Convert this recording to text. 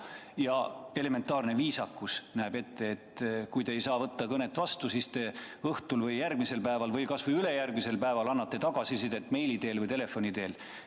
Ja elementaarne viisakuski näeb ette, et kui te ei saa kõnet kohe vastu võtta, siis te õhtul või järgmisel päeval või kasvõi ülejärgmisel päeval annate tagasisidet meili teel või telefoni teel.